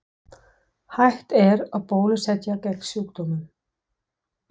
Hægt er að bólusetja gegn sjúkdómnum.